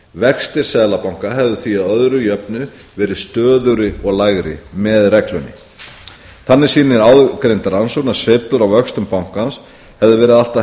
vextir seðlabanka hefðu því að öðru jöfnu verið stöðugri og lægri með reglunni þannig sýnir áðurgreind rannsókn að sveiflur á vöxtum bankans hefðu verið allt að